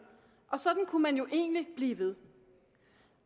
og sådan kunne man jo egentlig blive ved